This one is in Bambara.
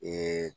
Ee